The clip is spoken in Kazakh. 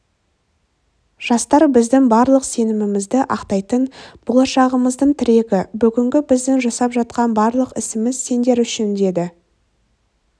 жастар біздің барлық сенімімізді ақтайтын болашағымыздың тірегі бүгінгі біздің жасап жатқан барлық ісіміз сендер үшін деді